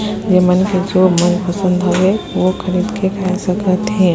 ए मन के जो मनपसंद हवे वो खरीद के खा सकत है।